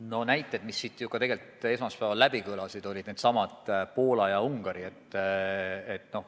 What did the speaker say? Need näited kõlasid siin ju ka esmaspäeval, need riigid on Poola ja Ungari.